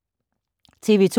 TV 2